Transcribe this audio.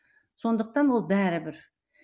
сондықтан ол бәрібір